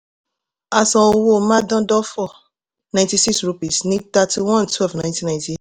a san owó mádándọ́fọ̀ ninety-six rupees ní thirty-one twelve nineteen ninety-eight